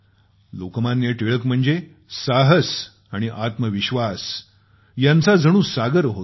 लोकमान्य टिळक म्हणजे साहस आणि आत्मविश्वास यांचा जणू सागर होते